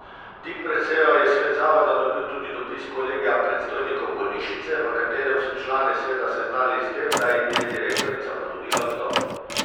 Tik pred sejo je svet zavoda dobil tudi dopis kolegija predstojnikov bolnišnice, v katerem so člane sveta seznanili s tem, da jim je direktorica ponudila odstop.